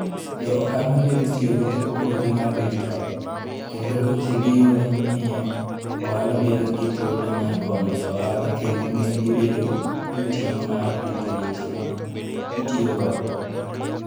Jo ohala medo tiyo gi teknoloji mar digital, kendo weche ma giyudo miyo ohala bedo gi thuolo mar konyo jo ohala kendo miyo gibedo gi ting' mar rito weche ma gitiyogo.